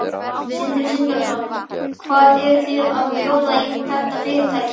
Sindri Sindrason: Hvað eruð þið að bjóða í þetta fyrirtæki?